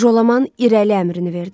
Jolaman irəli əmrini verdi.